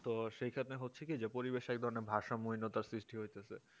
তো সেইখানে হচ্ছে কি পরিবেশ এক ধরনের ভারসাম্য হীনতার সৃষ্টি হইতেছে